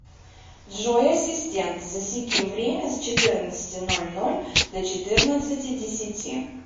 джой ассистент засеки время с четырнадцати ноль ноль до четырнадцати десяти